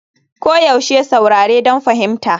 Koyaushe saurare don fahimta.